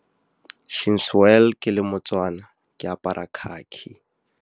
Since well ke le moTswana, ke apara khakhi.